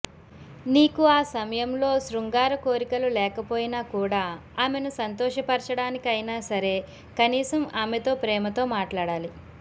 నీకు ఆ సమయంలో శృంగార కోరికలు లేకపోయినా కూడా ఆమెను సంతోషపరచడానికిఅయినా సరే కనీసం ఆమెతో ప్రేమతో మాట్లాడాలి